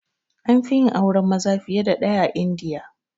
Anfi yin auren maza fiye da ɗaya a India